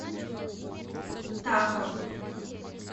таха